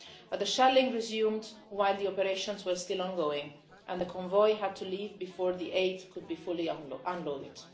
But the shelling resumed while the operations were still ongoing and the convoy had to leave before the aid could be fully unloaded.